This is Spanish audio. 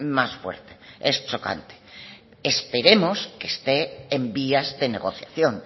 más fuerte es chocante esperemos que esté en vías de negociación